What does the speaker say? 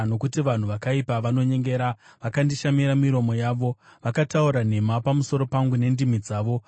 nokuti vanhu vakaipa vanonyengera vakandishamira miromo yavo; vakataura nhema pamusoro pangu nendimi dzavo.